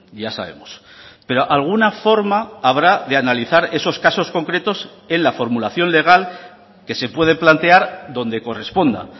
ya sabemos pero alguna forma habrá de analizar esos casos concretos en la formulación legal que se puede plantear donde corresponda